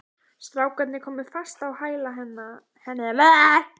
Strákarnir komu fast á hæla henni og lituðust undrandi um.